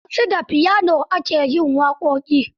Yanzu da piano ake yin waƙoƙi.